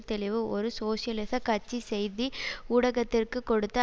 தெளிவு ஒரு சோசியலிச கட்சி செய்தி ஊடகத்திற்கு கொடுத்த